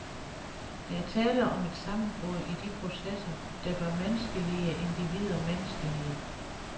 Der er tale om et sammenbrud i de processer, der gør menneskelige individer menneskelige.